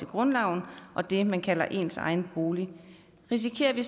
grundloven og det man kalder ens egen bolig risikerer vi